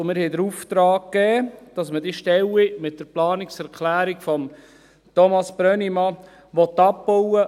Wir haben den Auftrag erteilt, dass man diese Stellen mit der Planungserklärung von Thomas Brönnimann abbauen will.